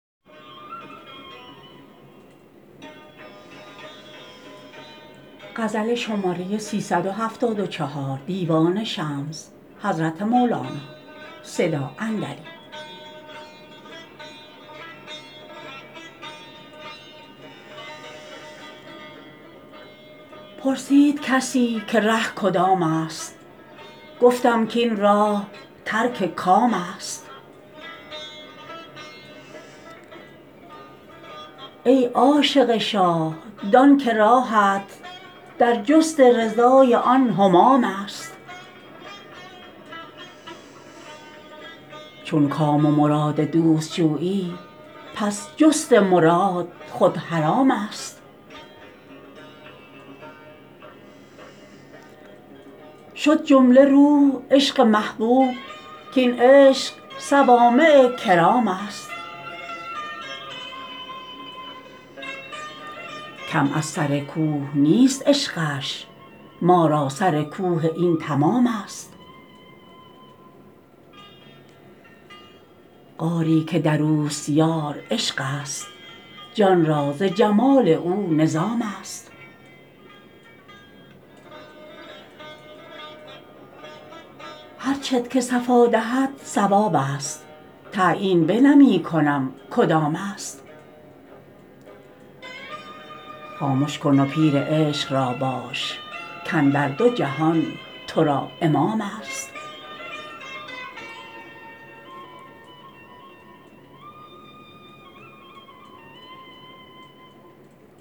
پرسید کسی که ره کدامست گفتم کاین راه ترک کامست ای عاشق شاه دان که راهت در جست رضای آن همامست چون کام و مراد دوست جویی پس جست مراد خود حرامست شد جمله روح عشق محبوب کاین عشق صوامع کرامست کم از سر کوه نیست عشقش ما را سر کوه این تمامست غاری که در اوست یار عشقست جان را ز جمال او نظامست هر چت که صفا دهد صوابست تعیین بنمی کنم کدامست خامش کن و پیر عشق را باش کاندر دو جهان تو را امامست